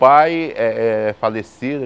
Pai é é falicido.